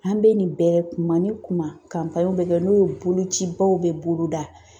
An bɛ nin bɛɛ kuma ni kuma bɛ kɛ n'o ye bolocibaw bɛ boloda